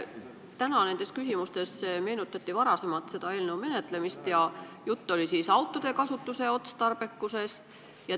Täna meenutati küsimustes varasemat eelnõu menetlemist ja juttu oli autode kasutamise otstarbekusest.